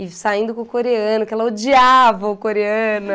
E saindo com o coreano, que ela odiava o coreano.